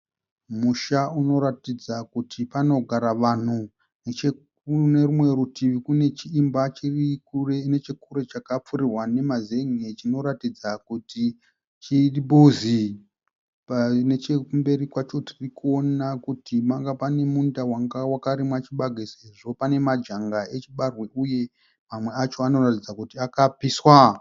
Musha unoratidza kuti panogara vanhu. Nechekunerumwe rutivi kunechiimba chiri nechekure chakapfurirwa nemazen'e chinoratidza kuti chimbuzi. Nechekumberi kwacho tirikuona kuti pane munda wanga wakarimwa chibage sezvo pane majanga achibage uye amwe acho anoratidza kuti akapiswa.